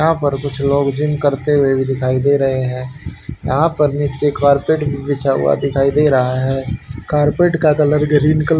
यहां पर कुछ लोग जिम करते हुए भी दिखाई दे रहे हैं यहां पर नीचे कारपेट भी बिछा हुआ दिखाई दे रहा है कारपेट का कलर ग्रीन कल--